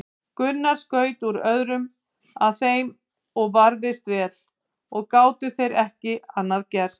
Gunnar skaut út örum að þeim og varðist vel og gátu þeir ekki að gert.